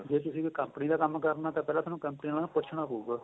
ਜ਼ੇ ਤੁਸੀਂ ਕੋਈ company ਦਾ ਕੰਮ ਕਰਨਾ ਤਾਂ ਪਹਿਲਾਂ ਤੁਹਾਨੂੰ company ਵਾਲੇ ਤੋ ਪੁੱਚਣਾ ਪਹੁਗਾ